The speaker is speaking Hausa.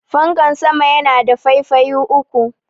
fankan sama yana da faifayi uku